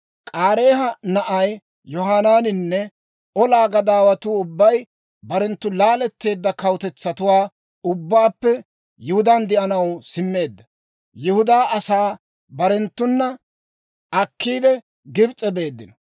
K'aareeha na'ay Yohanaaninne olaa gadaawatuu ubbay barenttu laaletteedda kawutetsatuwaa ubbaappe Yihudaan de'anaw simmeedda Yihudaa asaa barenttuna akkiide, Gibs'e beeddino.